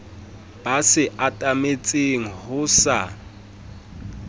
be se atametseng ho sa